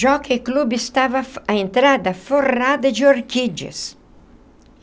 Jockey Club estava a entrada forrada de orquídeas.